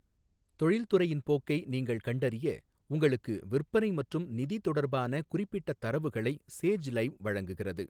தொழில்துறையின் போக்கை நீங்கள் கண்டறிய உங்களுக்கு விற்பனை மற்றும் நிதி தொடர்பான குறிப்பிட்ட தரவுகளை சேஜ் லைவ் வழங்குகிறது.